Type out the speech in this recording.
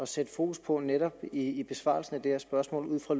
sætte fokus på netop i besvarelsen af det her spørgsmål ud fra